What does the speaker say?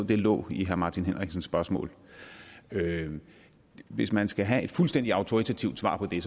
det lå i herre martin henriksens spørgsmål hvis man skal have et fuldstændig autoritativt svar på det